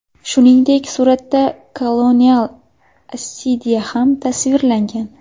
Shuningdek, suratda kolonial assidiya ham tasvirlangan.